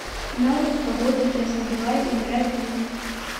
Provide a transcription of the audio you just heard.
навык погода тест давай играть в